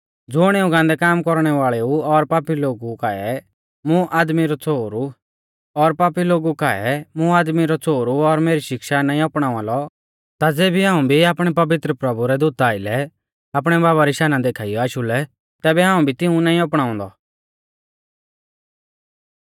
ज़ुण इऊं गान्दै काम कौरणै वाल़ेऊ और पापी लोगु काऐ मुं आदमी रौ छ़ोहरु और मेरी शिक्षा नाईं अपणावा लौ ता ज़ेबी हाऊं भी आपणै पवित्र प्रभु रै दूता आइलै आपणै बाबा री शाना देखाइयौ आशु लै तैबै हाऊं भी तिऊं नाईं अपणाउंदौ